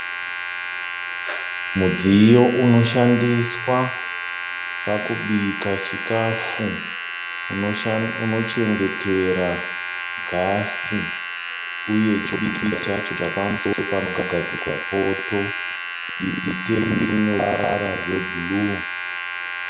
Mudziyo unoshandiswa pakubika chikafu unochengetera gasi. Uye chekubikira chacho panogadzikwa poto. Uye tengi rineruvara rwebhuruu.